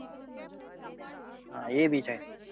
હા એ ભી છે.